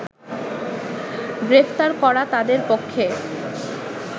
গ্রেপ্তার করা তাদের পক্ষে